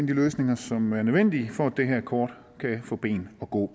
løsninger som er nødvendige for at det her kort kan få ben at gå